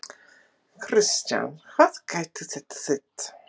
Kristján, hvað gæti þetta þýtt?